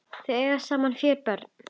Þau eiga saman fjögur börn.